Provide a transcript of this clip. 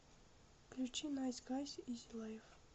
включи найс гайс изи лайф